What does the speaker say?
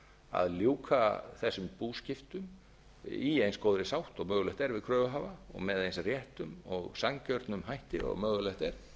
að ljúka þessum búskiptum í eins góðri sátt og mögulegt er við kröfuhafa og með eins réttum og sanngjörnum hætti og mögulegt er